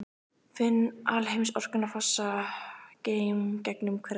Finn alheimsorkuna fossa gegnum hverja taug.